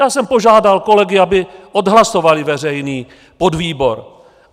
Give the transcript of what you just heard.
Já jsem požádal kolegy, aby odhlasovali veřejný podvýbor.